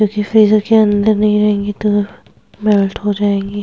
क्यूंकि फ्रिज के अंदर नहीं रहेगी तो मेल्ट हो जाएंगी।